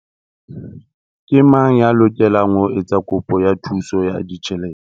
Ke mang ya lokelang ho etsa kopo ya thuso ya ditjhelete?